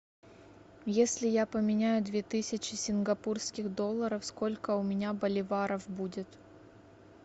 если я поменяю две тысячи сингапурских долларов сколько у меня боливаров будет